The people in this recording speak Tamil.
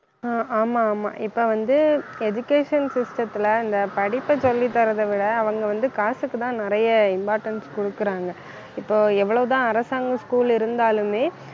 ஆஹ் ஆமா ஆமா இப்ப வந்து, education சிஸ்டத்துல இந்த படிப்பை சொல்லித் தர்றதை விட அவங்க வந்து காசுக்குத்தான் நிறைய importance குடுக்கறாங்க இப்போ எவ்வளவுதான் அரசாங்கம் school இருந்தாலுமே